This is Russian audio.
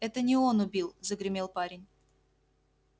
это не он убил загремел парень